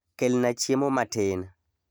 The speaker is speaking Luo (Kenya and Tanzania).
kelna chiemo matin.